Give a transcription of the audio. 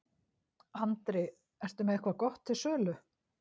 Andri: Ertu með eitthvað gott til sölu?